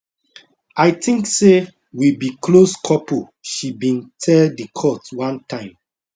i think say we be close couple she bin tell di court one time